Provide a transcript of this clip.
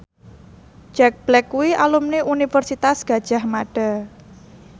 Jack Black kuwi alumni Universitas Gadjah Mada